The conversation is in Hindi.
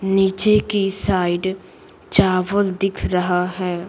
नीचे की साइड चावल दिख रहा है।